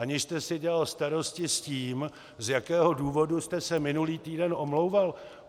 Aniž jste si dělal starosti s tím, z jakého důvodu jste se minulý týden omlouval.